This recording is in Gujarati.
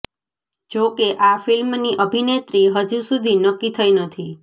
જો કે આ ફિલ્મ ની અભિનેત્રી હજી સુધી નક્કી થઇ નથી